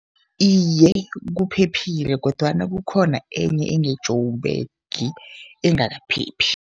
Iye, kuphephile kodwana kukhona enye enge-Joburg engakaphephi.